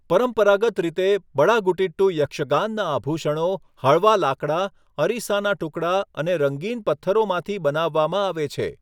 પરંપરાગત રીતે, બડાગુટિટ્ટુ યક્ષગાન આભૂષણો હળવા લાકડા, અરીસાના ટુકડા અને રંગીન પથ્થરોમાંથી બનાવવામાં આવે છે.